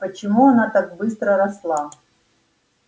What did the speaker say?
почему она так быстро росла